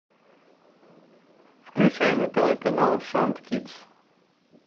включай на тв канал шант кидс